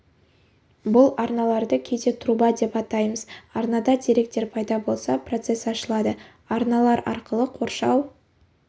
бұл арналарды кейде труба деп атаймыз арнада деректер пайда болса процесс ашылады арналар арқылы қоршау